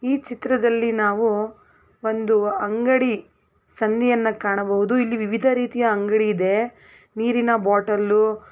ಈ ಚಿತ್ರದಲ್ಲಿ ನಾವು ಒಂದು ಅಂಗಡಿ ಸಂದಿಯನ್ನಕಾಣಾಬಹುದು ವಿವಿಧ ರೀತಿಯ ಅಂಗಡಿ ಇದೆ ನೀರೆನ ಬಾಟಲು_